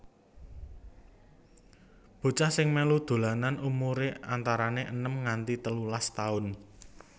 Bocah sing melu dolanan umure antarane enem nganti telulas taun